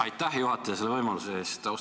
Aitäh, juhataja, selle võimaluse eest!